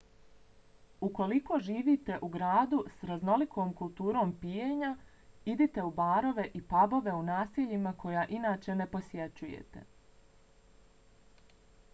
ukoliko živite u gradu s raznolikom kulturom pijenja idite u barove i pabove u naseljima koja inače ne posjećujete